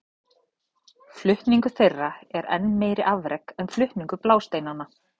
Flutningur þeirra er enn meira afrek en flutningur blásteinanna.